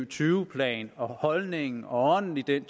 tyve plan og holdningen og ånden i den